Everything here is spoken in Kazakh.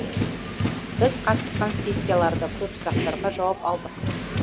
біз қатысқан сессияларда көп сұрақтарға жауап алдық